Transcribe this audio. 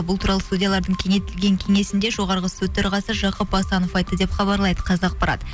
бұл туралы судьялардың кеңейтілген кеңесінде жоғарғы сот төрағасы жақып асанов айтты деп хабарлайды қазақпарат